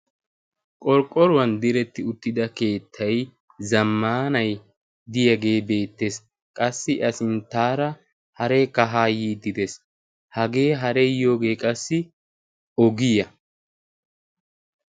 Qorqqoruwan diretti uttida keettai zammaanai diyaagee beettees qassi a sinttaara haree kahaa yiiddidees hagee hareeyyoogee qassi ogiya.